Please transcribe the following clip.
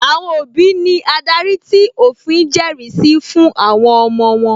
Àwọn òbí ní adarí tí òfin jẹrìí sí fún àwọn ọmọ wọ́n